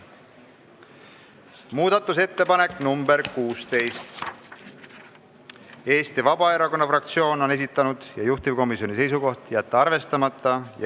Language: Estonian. Muudatusettepanek nr 16, Eesti Vabaerakonna fraktsioon on selle esitanud, juhtivkomisjoni seisukoht: jätta arvestamata.